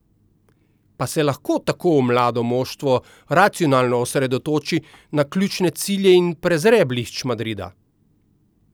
Pa se lahko tako mlado moštvo racionalno osredotoči na ključne cilje in prezre blišč Madrida?